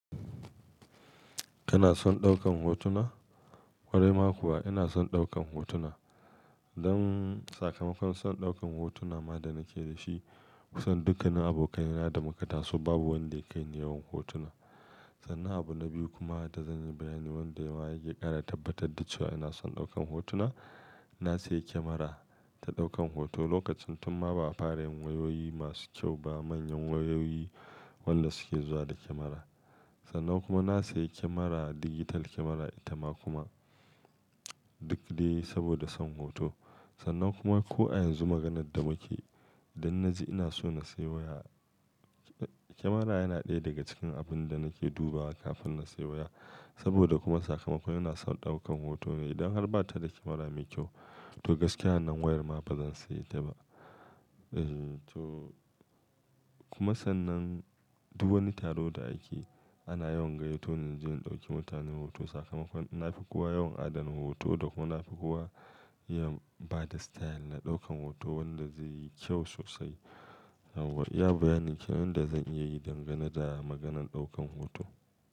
Kana son ɗaukan hotuna? Wari ma kuwa ina son ɗaukan hotuna. Dan sakamakon son ɗaukan hotuna ma da nake da shi kusan dukkan abokan yana da muka taso babu wanda ya kai ni yawan hotuna. Sannan abu na biyu kuma da zan yi bayani wanda ma yake ƙara tabbatar da cewa ina son ɗaukan hotuna. Na sayi kemara ta ɗaukan hoto lokacin tunma ba a fara yin wayoyi masu kyau ba manyan wayoyi wanda suke zuwa da kemara. Sannan kuma na sayi kemara digital kemara ita ma kuma duk dai saboda son hoto. Sannan kuma ko a yanzu maganar da muke idan na ji ina so na sayi waya kemara yana ɗaya daga cikin abun da nake dubawa kafin na sayi waya. Saboda kuma sakamakon ina son ɗaukan hoto ne. Idan har ba ta da kemara mai kyau to gaskiya wannan wayar ma ba zan sayi ta ba. Eh to kuma sannan duk wani taro da ake ana yawan gayyato na ji in ɗauki mutane hoto sakamakon na fi kuwa yawan adana hoto da kuma na fi kuwa iya bada style na ɗaukan hoto wanda zai yi kyau sosai. Ya bayani cikin wanda zan iya yi dangane da maganan ɗaukan hoto.